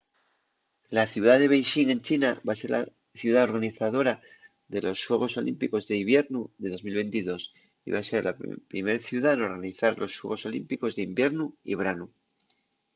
la ciudá de beixín en china va ser la ciudá organizadora de los xuegos olímpicos d’hibiernu de 2022 y va ser la primer ciudá n’organizar los xuegos olímpicos d’hibiernu y branu